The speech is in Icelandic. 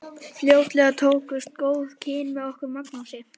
Fljótlega tókust góð kynni með okkur Magnúsi.